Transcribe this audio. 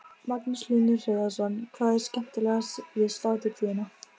Ég held að eymingja Símoni þyki eitthvað spennandi við mig.